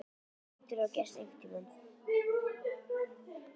Það hlýtur að hafa gerst einhvern tíma.